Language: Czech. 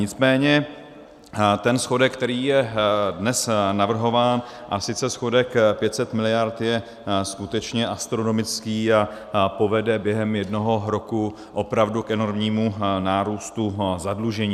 Nicméně ten schodek, který je dnes navrhován, a sice schodek 500 miliard, je skutečně astronomický a povede během jednoho roku opravdu k enormnímu nárůstu zadlužení.